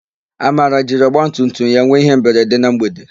Amara jiri ọgbatumtum ya nwe ihemberede na mgbede.